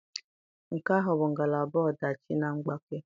Nke ahụ bụ ngalaba ọdachi na mgbake.